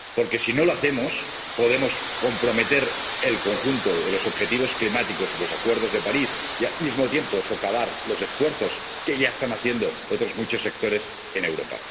Porque, si no lo hacemos, podemos comprometer el conjunto de los objetivos climáticos y los Acuerdos de París y, al mismo tiempo, socavar los esfuerzos que ya están haciendo otros muchos sectores en Europa.